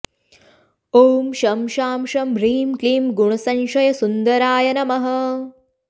ॐ शं शां षं ह्रीं क्लीं गुणसंशयसुन्दराय नमः